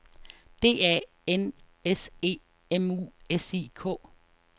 D A N S E M U S I K